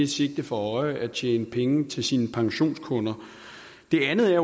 sigte for øje at tjene penge til sine pensionskunder det andet er